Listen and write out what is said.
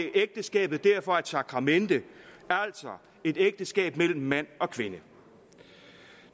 ægteskabet derfor er et sakramente altså et ægteskab mellem mand og kvinde